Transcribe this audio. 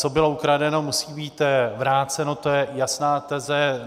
Co bylo ukradeno, musí být vráceno, to je jasná teze.